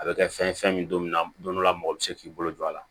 A bɛ kɛ fɛn ye fɛn min don na don dɔ la mɔgɔ bɛ se k'i bolo don a la